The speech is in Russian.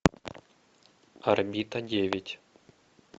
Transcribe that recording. орбита девять